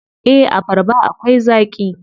Eh, abarba akwai zaaƙi.